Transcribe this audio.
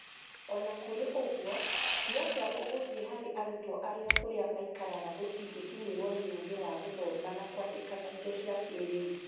o na kũrĩ ũguo, nĩ atĩa gũgũthiĩ harĩ arutwo arĩa kũrĩa maikaraga gũtingĩkinyĩrwo nĩ ũũgĩ wa gũthoma na kwandĩka na indo cia kĩĩrĩu?